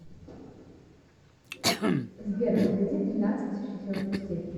сбер возведи тринадцать в четвертую степень